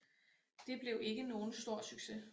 Det blev ikke nogen stor succes